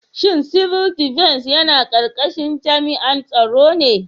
Shin Civil Defence yana karkashin jami'an tsaro ne?